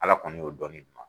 Ala kɔni y'o dɔni duman.